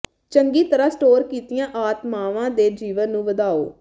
ਚੰਗੀ ਤਰ੍ਹਾਂ ਸਟੋਰ ਕੀਤੀਆਂ ਆਤਮਾਵਾਂ ਦੇ ਜੀਵਨ ਨੂੰ ਵਧਾਓ